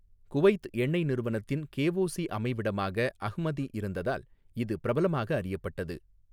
Kuwait எண்ணெய் நிறுவனத்தின் KOC அமைவிடமாக அஹ்மதி இருந்ததால் இது பிரபலமாக அறியப்பட்டது.